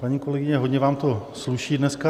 Paní kolegyně, hodně vám to sluší dneska.